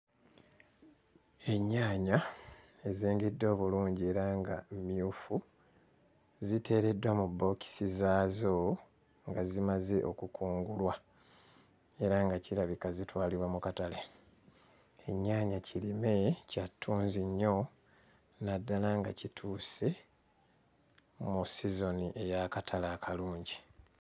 Ennyaanya ezengedde obulungi era nga mmyufu ziteereddwa mu bbookisi zaazo nga zimaze okukungulwa era nga kirabika zitwalibwa mu katale, ennyaanya kirime kya ttunzi nnyo naddala nga kituuse mu sizoni ey'akatale akalungi.